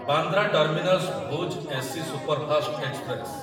Bandra terminus Bhuj AC superfast express